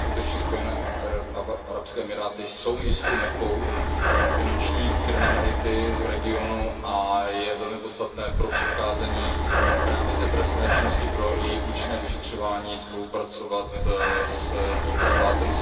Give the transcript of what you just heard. Skutečně Spojené arabské emiráty jsou jistou Mekkou finanční kriminality v regionu a je velmi podstatné pro předcházení právě té trestné činnosti, pro její účinné vyšetřování, spolupracovat s tímto státem.